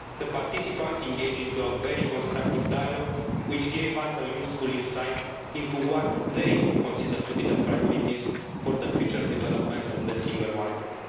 The participants engaged in a very constructive dialogue, which gave us a useful insight into what they consider to be the priorities for the future development of the single market.